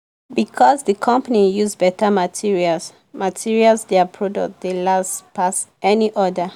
because the company use better materials materials their product dey last pass any other.